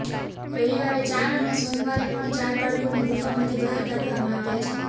રવિવારે ચાર અને સોમવારે પણ ચાર બાળકોને ગુફામાંથી બહાર કાઢવામાં આવ્યા છે